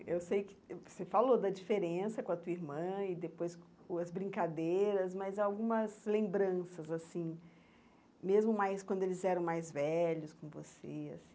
Eu sei que você falou da diferença com a tua irmã e depois com as brincadeiras, mas algumas lembranças, assim, mesmo mais quando eles eram mais velhos com você, assim.